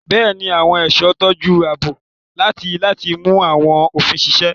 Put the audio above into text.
Bẹ́ẹ̀ni, àwọn ẹ̀ṣọ́ ń tọ́jú ààbò àti láti mú àwọn òfin ṣiṣẹ́.